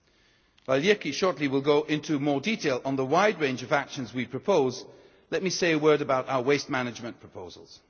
While Jyrki will shortly go into more detail on the wide range of actions we propose, let me say a word about our waste management proposals.